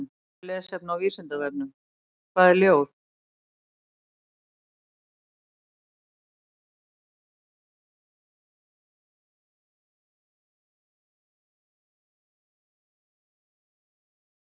Frekara lesefni á Vísindavefnum: Hvað er ljóð?